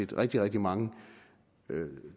rigtig rigtig mange